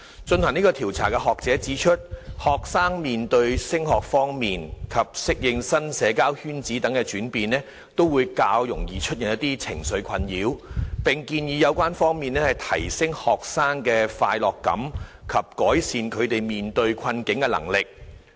進行該調查的學者指出，學生面對升中及適應新社交圈子等轉變，較易出現情緒困擾，並建議有關方面提升學生的快樂感及改善他們面對困境的能力。